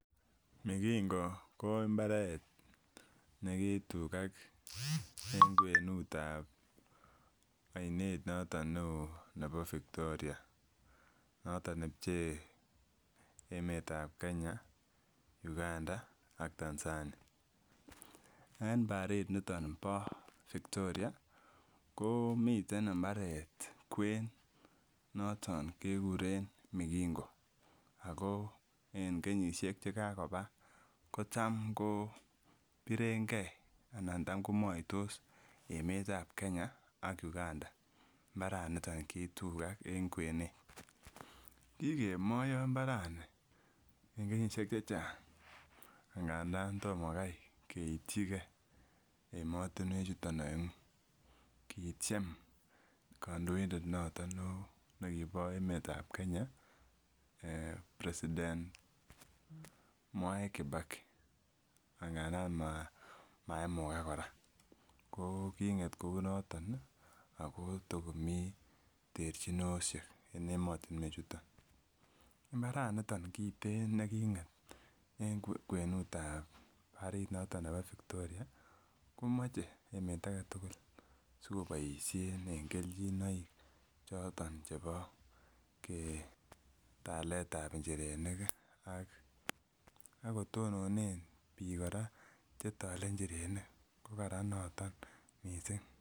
Migingo ko mbaret negitugak en kwenut ab oinet noton neo nebo Victoria noton nebchee emet ab Kenya, Uganda ak Tanzania, en bariit niton bo Victoria ko miten mbaret kwen noton kekuren migingo ago en kenyisiek chekagoba kotomngobirengen anan tam komoitos emet ab Kenya ak Uganda mbaraniton kitugak en kwenet, kigemoiyo mbarani en kenyisiek chechang' ng'andan tomokai keityi gee emotunwechuton oengu, kityem kandoindet noton neo nekibo emet ab Kenya president Mwai kibaki ang'andan maimugak kora, ko king'et kounotok ii ako tokomii terchinosyek en emoyunwech chuton, mbaraniton nitok kiten neking'et en kwenut ab bariit noton bo Victoria komoche emet agetugul sikoboisyen en kelchinoik choton chebo talet ab njirenik ii akotononen biik kora chetole njirenik ko karan noton missing.